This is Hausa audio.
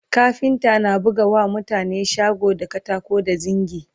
kafinta na buga wa mutane shago da katako da zingi